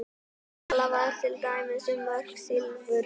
Talað var til dæmis um mörk silfurs.